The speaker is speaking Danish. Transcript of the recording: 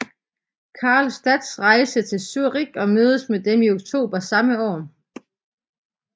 Karlstadt rejste til Zürich og mødtes med dem i oktober samme år